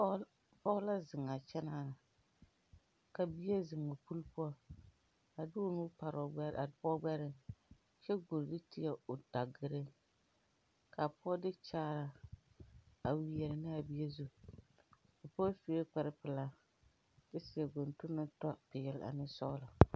Pɔɔ la zeŋaa kyɛnaa na ka bie zeŋ o pule poɔ a de o nu pare a pɔɔ gbɛreŋ kyɛ koo nu tēɛ o dagire kaa pɔɔ de kyaaraa a wiɛrɛ naa bie zu a pɔɔ sure kapre pilaakyɛ kyɛ seɛ gondong na tɔ peɛɛl ane sɔglɔ.